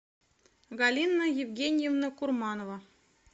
галина евгеньевна курманова